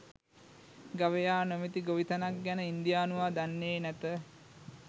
ගවයා නොමැති ගොවිතැනක් ගැන ඉන්දියානුවා දන්නේ නැත.